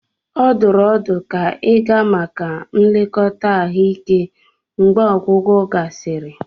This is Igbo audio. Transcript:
Ọ dụrụ ọdụ ka ịga maka nlekọta ahụike mgbe ọgwụgwọ gasịrị.